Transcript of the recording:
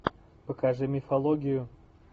покажи мифологию